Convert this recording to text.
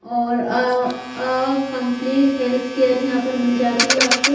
और अः अः कम्पलीट हेल्थ केयर यहाँ पर मिल जाती है आपको--